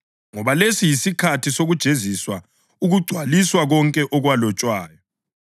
Ngoba lesi yisikhathi sokujeziswa ukugcwalisa konke okwalotshwayo.